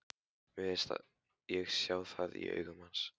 Mér fannst ég sjá það í augum hans.